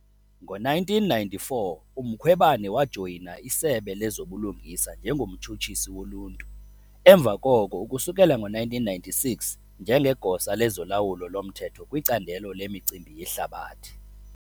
Ngo-1994 uMkhwebane wajoyina iSebe lezoBulungisa njengoMtshutshisi woLuntu emva koko ukusukela ngo-1996 njengeGosa lezoLawulo loMthetho kwiCandelo leMicimbi yeHlabathi.